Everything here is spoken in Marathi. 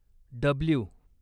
डब्ल्यु